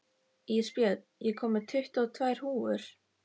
Ísbjörn, ég kom með tuttugu og tvær húfur!